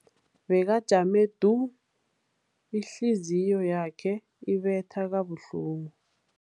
Bekajame du, ihliziyo yakhe ibetha kabuhlungu.